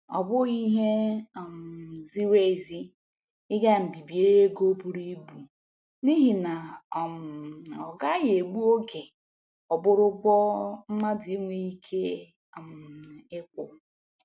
Ọ bụghị ihe um ziri ezi ị ga mbibi ego buru ibu n'ihi na um ọ gaghị egbu oge ọ bụrụ ụgwọ mmadụ enweghị ike um ịkwụ.